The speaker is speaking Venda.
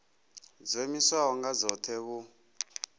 dzo iimisaho nga dzohe vhu